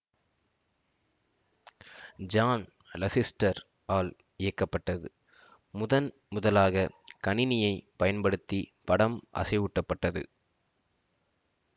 John Lasseter ஆல் இயக்கப்பட்டதுமுதன் முதலாக கணினியை பயன்படுத்தி படம் அசைவூட்டப்பட்டது